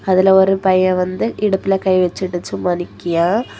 அதுல ஒரு பையன் வந்து இடுப்புல கை வெச்சுட்டு சும்மா நிக்கியா.